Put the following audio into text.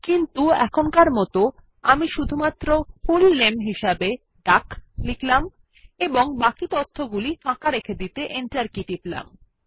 কিন্তু এখনকার মত আমি শুধুমাত্র ফুল নামে হিসাবে ডাক লিখব এবং বাকি তথ্যগুলি ফাঁকা রেখে দিতে এন্টার কী টিপব